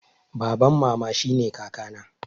Baban mama shine kaka na